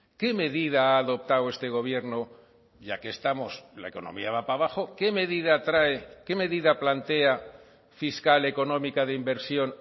qué medida ha adoptado este gobierno ya que estamos la economía va para abajo qué medida trae qué medida plantea fiscal económica de inversión